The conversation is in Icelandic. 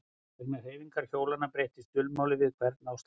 Vegna hreyfingar hjólanna breyttist dulmálið við hvern áslátt.